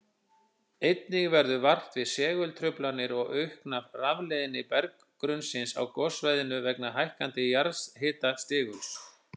Einnig verður vart við segultruflanir og aukna rafleiðni berggrunnsins á gossvæðinu vegna hækkandi jarðhitastiguls.